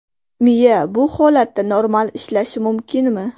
Miya bu holatda normal ishlashi mumkinmi?